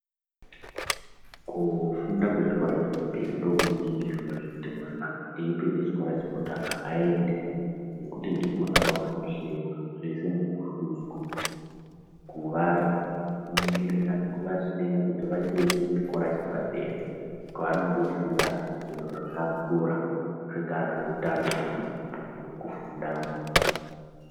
Kufunda kwechikora chechipiri ndikunoningirwa zvekuti kuti mwana eipedza chikora chekutanga aende. Nekuti ndikwona kwavanohleiwa zveshe nekuhlunika Kuvaningirira nekuvasiya kuti vachienda kuchikora chepadera. Kwevanondofunda zviro zvingaa zveutano kana zvemukufundamo.